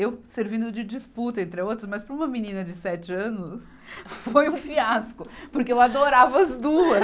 Eu servindo de disputa entre as outras, mas para uma menina de sete anos, foi um fiasco, porque eu adorava as duas.